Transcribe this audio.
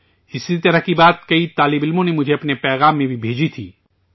اسی طرح کی بات کئی طلباء نے مجھے اپنے پیغام میں بھی بھیجی تھی